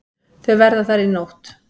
Þau verða þar í nótt.